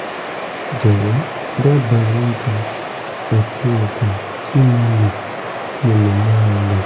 jọ̀wọ́ dábàá oúnjẹ àti oògùn tí mo lè mo lè máa lò